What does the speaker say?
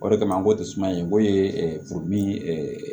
O de kama an ko tɛ suman in ko ye